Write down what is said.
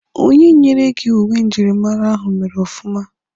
Onye nyere gị uwe njirimara ahụ mere ọfụma.